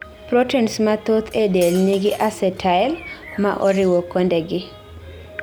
Proteins mathoth ee del nigi acetyl maa oriwo kondegi